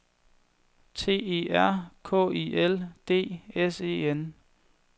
T E R K I L D S E N